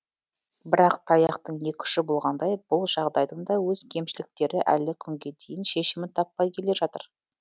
бірақ таяқтың екі ұшы болғандай бұл жағдайдың да өз кемшіліктері әлі күнге дейін шешімін таппай келе жатыр